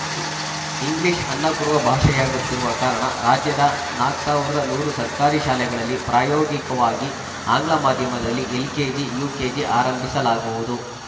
English ಅನ್ನ ಕೊಡುವ ಭಾಷೆಯಾಗುತ್ತಿರುವ ಕಾರಣ ರಾಜ್ಯದ ನಾಕ್ ಸಾವಿರದ ನೂರು ಸರ್ಕಾರಿ ಶಾಲೆಗಳಲ್ಲಿ ಪ್ರಯೋಗಿಕವಾಗಿ ಆಂಗ್ಲ ಮಾಧ್ಯಮದಲ್ಲಿ ಎಲ್‌ಕೆಜಿ ಯುಕೆಜಿ ಆರಂಭಿಸಲಾಗುವುದು